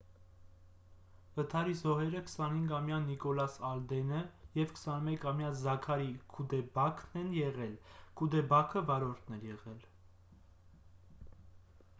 վթարի զոհերը 25-ամյա նիկոլաս ալդենը և 21-ամյա զաքարի քուդեբաքն են եղել քուդեբաքը վարորդն էր եղել